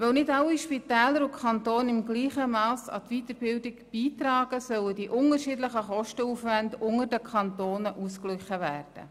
Weil nicht alle Spitäler und Kantone im gleichen Mass an die Weiterbildung beitragen, sollen die unterschiedlichen Kostenaufwände unter den Kantonen ausgeglichen werden.